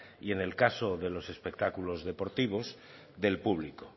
y en el caso de los espectáculos deportivos del público